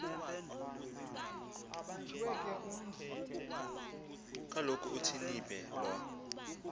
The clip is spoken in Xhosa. kaloku uthwinibe lo